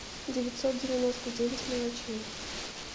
девятьсот девяносто девять мелочей